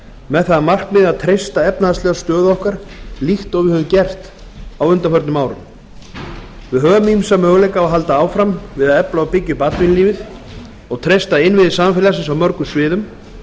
með það að markmiði að treysta efnahagslega stöðu okkar líkt og við höfum gert á undanförnum árum við höfum ýmsa möguleika á að halda áfram við að efla og byggja upp atvinnulífið og treysta innviði samfélagsins á mörgum sviðum